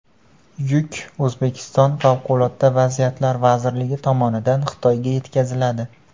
Yuk O‘zbekiston Favqulodda vaziyatlar vazirligi tomonidan Xitoyga yetkaziladi.